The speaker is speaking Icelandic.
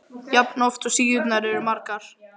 jafn oft og síðurnar eru margar.